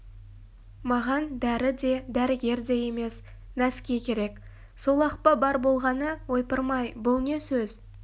маған дәрі де дәрігер де емес нәски керек сол-ақ па бар болғаны ойпырмай бұл не сөз